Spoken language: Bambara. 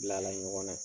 Bilala ɲɔgɔn na